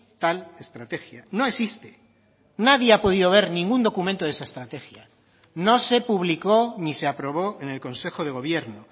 tal estrategia no existe nadie ha podido ver ningún documento de esa estrategia no se publicó ni se aprobó en el consejo de gobierno